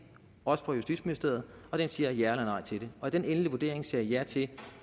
også af justitsministeriet og den siger ja eller nej til det og i den endelige vurdering sagde man ja til at